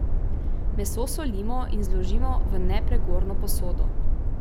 Meso solimo in zložimo v nepregorno posodo.